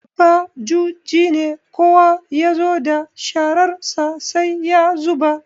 Babba juji ne, kowa ya zo da shararsa sai ya zuba.